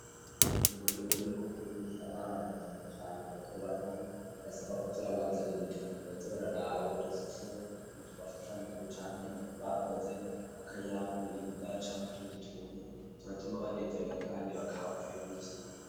Mugihe uriko urigisha abana na cane cane batobato, bisaba ko uza urabazanira udupupe baza bararaba udushusho, twashushanijwe canke bakoze, akayabu, imbwa, canke utundi tuntu ,turatuma banezerewa kandi bakaba baryohewe n'icirwa.